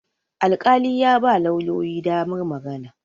alƙali ya ba lauyoyi damar magana